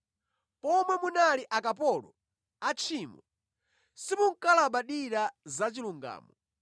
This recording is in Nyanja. Pomwe munali akapolo atchimo, simunkalabadira za chilungamo.